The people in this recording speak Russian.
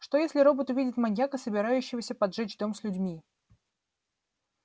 что если робот увидит маньяка собирающегося поджечь дом с людьми